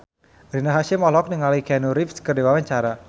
Rina Hasyim olohok ningali Keanu Reeves keur diwawancara